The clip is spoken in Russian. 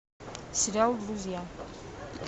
сериал друзья